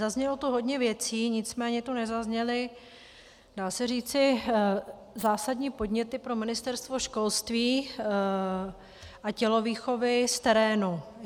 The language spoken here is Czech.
Zaznělo tu hodně věcí, nicméně tu nezazněly, dá se říci, zásadní podněty pro Ministerstvo školství a tělovýchovy z terénu.